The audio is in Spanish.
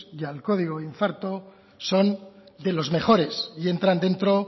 y al código infarto son de los mejores y entran dentro